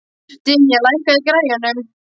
Dynja, lækkaðu í græjunum.